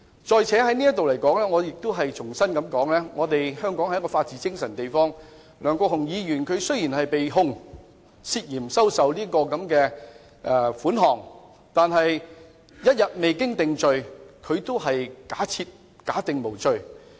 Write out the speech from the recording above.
再者，我亦想在此重申，香港是一個講求法治精神的地方，梁國雄議員雖然被控涉嫌收受款項，但一日未經定罪，仍假定他是無罪的。